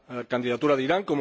la candidatura de Irán.